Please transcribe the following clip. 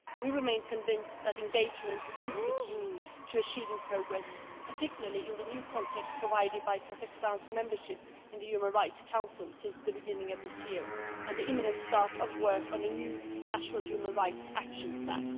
We remain convinced that engagement is the key to achieving progress, particularly in the new context provided by Kazakhstan's membership of the Human Rights Council since the beginning of this year and the imminent start of work on a new national human rights action plan.